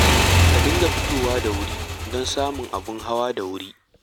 Ku dinga fitowa da wuri don samun abin hawa da wuri